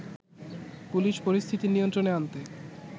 police পরিস্থিতি নিয়ন্ত্রণে আনতে